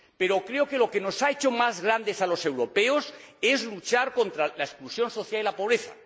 Pero creo que lo que nos ha hecho más grandes a los europeos es luchar contra la exclusión social y la pobreza.